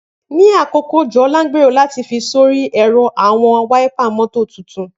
Ni akoko ojo, Ola ngbero lati fi sori ẹrọ awọn wáípà mọ́tò titun.